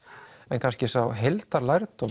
en kannski sá